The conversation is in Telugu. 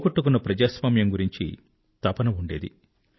పోగొట్టుకున్న ప్రజాస్వామ్యం గురించి తపన ఉండింది